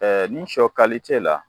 nin sɔ la